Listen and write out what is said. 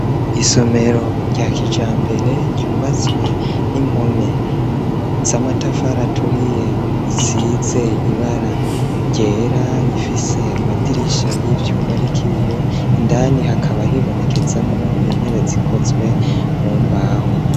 Isomero rya kijambere ryubatswe n'impome z'amatafari aturiye, risize ibara ryera, rifise amadirisha y'ivyuma ariko ibiyo, indani hakaba hibonekezamwo intebe zikozwe mu mbaho.